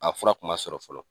A fura tun sɔrɔ fɔlɔ